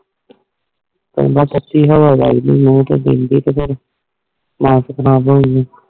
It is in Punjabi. ਥਾਲੋ ਤਤੀ ਹਵਾ ਵੱਜਦੀ ਆ ਲੂ ਚ ਫੇਰ